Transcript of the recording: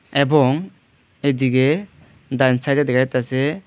এবং এদিকে ডান সাইডে দেখা যাইতাসে--